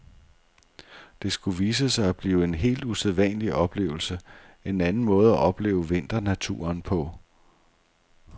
Det skulle vise sig at blive en helt usædvanlig oplevelse, en anden måde at opleve vinternaturen på.